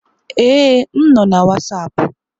Ee, m nọ na Wasapu.